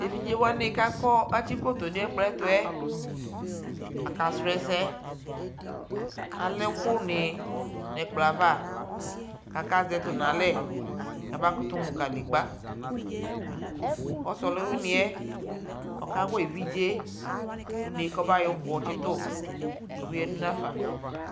Tevidzewani kʋ atsi kploto nʋ ɛfuɛ akasrɔ ɛsɛ Alɛ ɛkʋni nʋ ɛkpɔ yɛ ava kakazɛ tʋ nʋ alɛ kʋ abakutu mʋ kanegba Ɔsi ɔlʋwini yɛ okawa evidze yɛ une kɔbayɔ uku tsitu kʋ obeyadʋ nafa